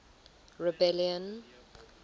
rebellion